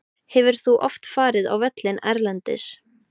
Hefur þú oft farið á völlinn erlendis?